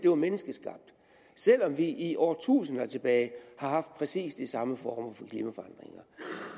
er menneskeskabte selv om vi i årtusinder tilbage har haft præcis de samme former for klimaforandringer